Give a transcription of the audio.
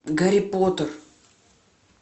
гарри поттер